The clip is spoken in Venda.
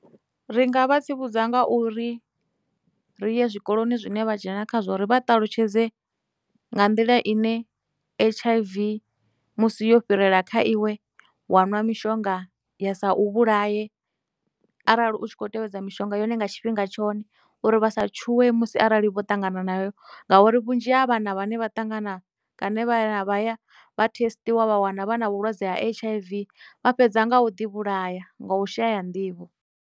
Ri nga vha tsivhudza nga uri ri ye zwikoloni zwine vha dzhena khazwo ri vha ṱalutshedze nga nḓila ine H_I_V musi yo fhirela kha iwe wa nwa mishonga ya sa u vhulaya arali u tshi khou tevhedza mishonga yone nga tshifhinga tshone uri vha sa tshuwe musi arali vho ṱangana nayo ngauri, vhunzhi ha vhana vhane vha ṱangana vha ya vha thesṱisa vha wana vha na vhulwadze ha H_I_V vha fhedza nga u ḓi vhulaya nga u shaya nḓivho.